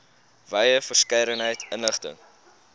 wye verskeidenheid inligting